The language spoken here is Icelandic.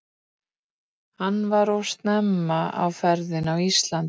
Hann var of snemma á ferðinni á Íslandi.